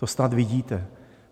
To snad vidíte.